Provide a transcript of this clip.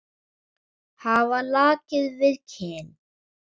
Hafa lakið við kinn.